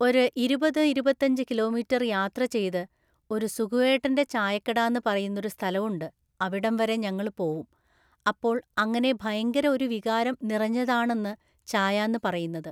ഒര് ഇരുപത് ഇരുപത്തഞ്ച് കിലോമീറ്റര് യാത്ര ചെയ്‌ത്‌ ഒര് സുകുവേട്ടൻ്റെ ചായക്കടാന്ന് പറയുന്നൊരു സ്ഥലവുണ്ട് അവിടം വരെ ഞങ്ങള് പോവും അപ്പോൾ അങ്ങനെ ഭയങ്കര ഒരു വികാരം നിറഞ്ഞതാണൊന്ന് ചായാന്ന് പറയുന്നത്